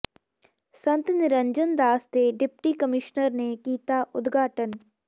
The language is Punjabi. ਸੰਤ ਨਿਰੰਜਣ ਦਾਸ ਦੇ ਡਿਪਟੀ ਕਮਿਸ਼ਨਰ ਨੇ ਕੀਤਾ ਉਦਘਾਟਨ